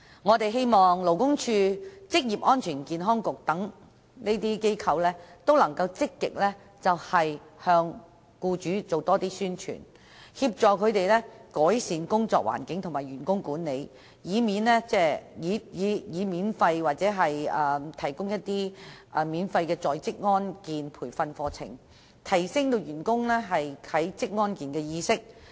我們希望勞工處職業安全健康局能積極向僱主多作宣傳，協助他們改善工作環境和員工管理，並免費提供職安健培訓課程，以提升員工對職安健的意識。